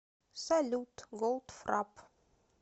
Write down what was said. салют голдфрап